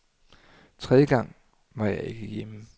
Tredje gang var jeg ikke hjemme.